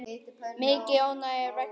Mikið ónæði er vegna atsins.